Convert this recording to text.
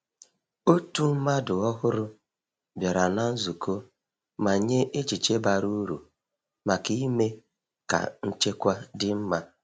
Otu mmadụ ọhụrụ bịara na nzukọ ma nye echiche bara uru maka ime ka nchekwa dị mma.